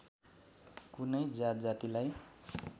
कुनै जातजातिलाई